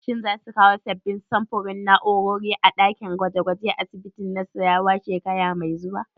Shin za su kawo sabbin samfurin na'urori a ɗakin gwaje gwajen asibitin Nassarawa shekara mai zuwa?